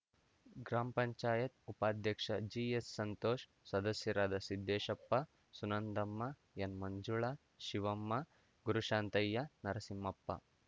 gram panchayat ಉಪಾಧ್ಯಕ್ಷ ಜಿಎಸ್‌ಸಂತೋಷ್‌ ಸದಸ್ಯರಾದ ಸಿದ್ದೇಶಪ್ಪ ಸುನಂದಮ್ಮ ಎನ್‌ಮಂಜುಳಾ ಶಿವಮ್ಮ ಗುರುಶಾಂತಯ್ಯ ನರಸಿಂಹಪ್ಪ